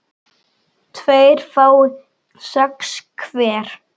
tveir fái sex hver